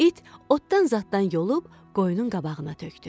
İt otdan zadatdan yolub qoyunun qabağına tökdü.